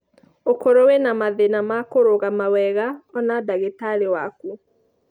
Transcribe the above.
Ũkorwo wĩna mathĩna ma kũrũgama wega ona ndagĩtarĩ waku.